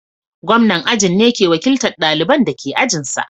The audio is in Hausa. Gwamnan ajin ne ke wakiltan ɗalibanda ke ajin sa.